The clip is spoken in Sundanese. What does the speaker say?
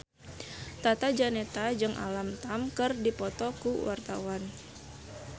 Tata Janeta jeung Alam Tam keur dipoto ku wartawan